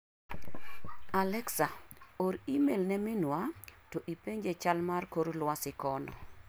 Alexa or imel ne minwa to ipenje chal mar kor luasi kono.